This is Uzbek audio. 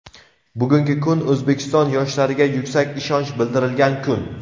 Bugungi kun O‘zbekiston yoshlariga yuksak ishonch bildirilgan kun.